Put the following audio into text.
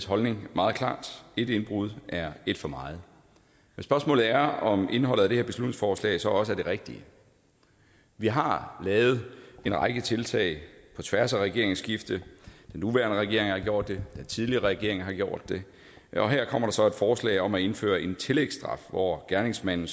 holdning meget klar et indbrud er et for meget men spørgsmålet er om indholdet af det her beslutningsforslag så også er det rigtige vi har lavet en række tiltag på tværs af regeringsskiftet den nuværende regering har gjort det den tidligere regering har gjort det og her kommer der så et forslag om at indføre en tillægsstraf hvor gerningsmanden